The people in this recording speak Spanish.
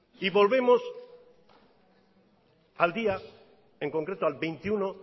y volvemos al día en concreto al veintiuno